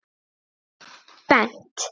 Bent